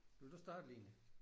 Vil du starte Line?